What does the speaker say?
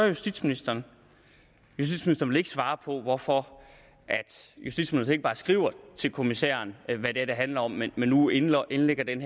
justitsministeren vil ikke svare på hvorfor justitsministeren ikke bare skriver til kommissæren hvad det er det handler om men men nu indlægger indlægger den